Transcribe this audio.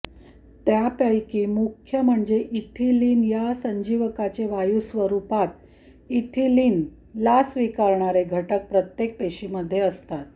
त्यापैकी मुख्य म्हणजे इथिलीन या संजीवकाचे वायू स्वरूपात इथिलीनला स्वीकारणारे घटक प्रत्येक पेशीमध्ये असतात